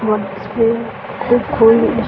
school खुल --